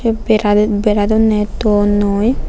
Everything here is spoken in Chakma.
bera di bera donney tonnoi.